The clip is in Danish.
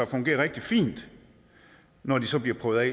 fungere rigtig fint når de så bliver prøvet